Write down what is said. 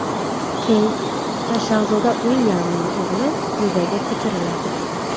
Keyt va shahzoda Uilyamning o‘g‘li kulbaga ko‘chiriladi.